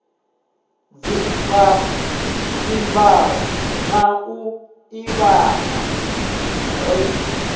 dzimvalo na u ḓivhana ri